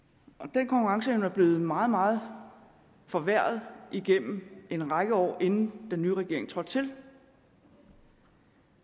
den konkurrenceevne er blevet meget meget forværret igennem en række år inden den nye regering trådte til